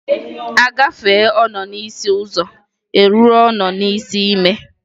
A gafee ọnọ n'isi ụzọ e ruo ọnọ n'isi ime.